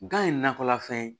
Gan ye nakɔlafɛn ye